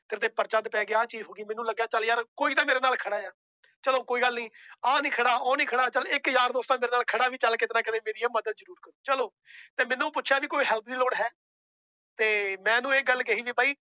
ਤੇਰੇ ਤੇ ਪਰਚਾ ਪੈ ਗਿਆ ਆਹ ਚੀਜ਼ ਹੋ ਗਈ ਮੈਨੂੰ ਲੱਗਿਆ ਚੱਲ ਯਾਰ ਕੋਈ ਤਾਂ ਮੇਰੇ ਨਾਲ ਖੜਾ ਆ, ਚਲੋ ਕੋਈ ਗੱਲ ਨੀ ਆਹ ਨੀ ਖੜਾ ਉਹ ਨੀ ਖੜਾ ਚੱਲ ਇੱਕ ਯਾਰ ਦੋਸਤ ਤਾਂ ਮੇਰਾ ਨਾਲ ਖੜਾ ਵੀ ਚੱਲ ਕਿਤੇ ਨਾ ਕਿਤੇ ਮੇਰੀ ਆਹ ਮਦਦ ਜ਼ਰੂਰ ਕਰੂ ਚਲੋ ਤੇ ਮੈਨੂੰ ਪੁੱਛਿਆ ਵੀ ਕੋਈ help ਦੀ ਲੋੜ ਹੈ ਤੇ ਮੈਂ ਉਹਨੂੰ ਇਹ ਗੱਲ ਕਹੀ ਵੀ ਬਈ